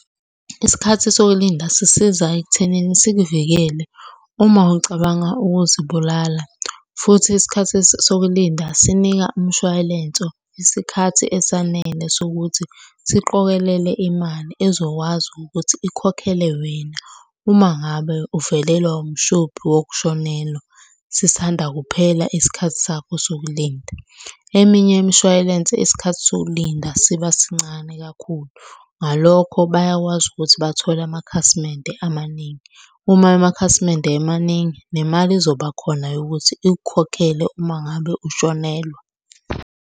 Isikhathi sokulinda sisiza ekuthenini sikuvikele uma ucabanga ukuzibulala, futhi isikhathi sokulinda sinika umshwalenso isikhathi esanele sokuthi siqokelele imali ezokwazi ukuthi ikhokhele wena uma ngabe uvelelwa umshophi wokushonelwa sisanda kuphela isikhathi sakho sokulinda. Eminye imishwalense isikhathi sokulinda siba sincane kakhulu, ngalokho bayakwazi ukuthi bathole amakhasimende amaningi. Uma amakhasimende emaningi nemali izoba khona yokuthi ikukhokhele uma ngabe ushonelwa.